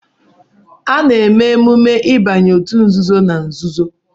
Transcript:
A na-eme emume ịbanye òtù nzuzo na nzuzo